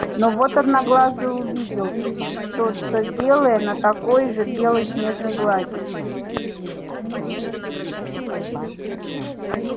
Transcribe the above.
но вот одноглазый увидел что то белое на такой же белой снежной глади